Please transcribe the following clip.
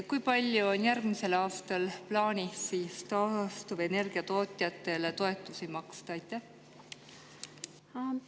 Kui palju on järgmisel aastal plaanis taastuvenergia tootjatele toetusi maksta?